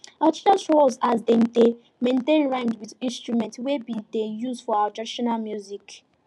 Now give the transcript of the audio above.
our teacher show us as dem dey maintain rhythm with instrument wey dem dey use for our traditional music